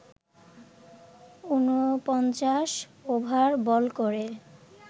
৪৯ over bowl করে